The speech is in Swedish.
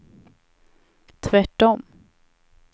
tvärtom